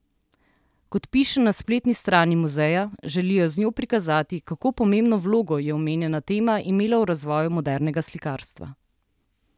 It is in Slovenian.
Kot piše na spletni strani muzeja, želijo z njo prikazati, kako pomembno vlogo je omenjena tema imela v razvoju modernega slikarstva.